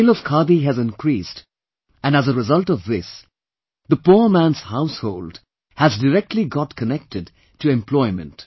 Sale of Khadi has increased and as a result of this, the poor man's household has directly got connected to employment